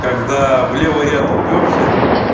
когда в левый ряд упёрся